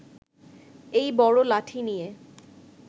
এই বড় লাঠি নিয়ে